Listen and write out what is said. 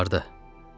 Amma harda?